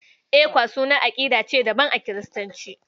ECWA sunan aƙidar ce daban a Kiristanci.